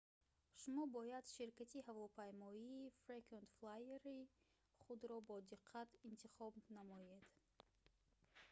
шумо бояд ширкати ҳавопаймоии frequent flyer-и худро бодиққат интихоб намоед